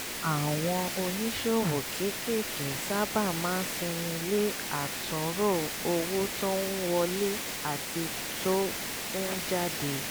àwọn oníṣòwò kéékèèké sábà máa sinmi le àtúnrò owó tó ń wọlé àti tó ń jáde